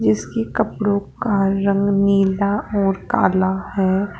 जीसकी कपड़ों का रंग नीला और काला है।